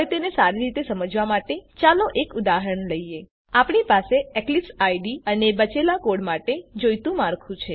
હવે તેને સારી રીતે સમજવા માટે ચાલો એક ઉદાહરણ લઈએ આપણી પાસે એક્લીપ્સ આઇડીઇ અને બચેલા કોડ માટે જોઈતું માળખું છે